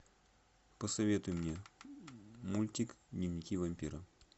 посоветуй мне мультик дневники вампира